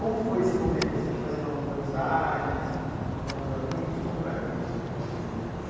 Como foi esse momento, assim, de fazer novas amizades, novos amigos, como era isso para você?